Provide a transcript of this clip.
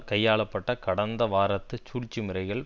கையாள பட்ட கடந்த வாரத்து சூழ்ச்சி முறைகள்